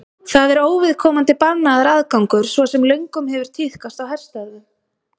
þar er óviðkomandi bannaður aðgangur svo sem löngum hefur tíðkast í herstöðvum